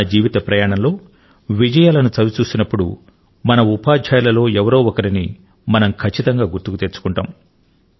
మన జీవిత ప్రయాణం లో విజయాలను చవి చూసినప్పుడు మన ఉపాధ్యాయుల లో ఎవరో ఒకరిని మనం ఖచ్చితంగా గుర్తుకు తెచ్చుకుంటాము